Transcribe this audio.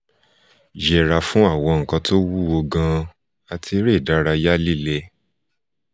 yẹra fun gbigbe nkan ti o wuwo gan ati ere idaraya lile